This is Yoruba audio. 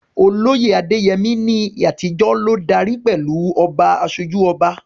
Olóyè Adeyemi, ní àtijọ́, ló darí pẹ̀lú "Oba Asoju Oba."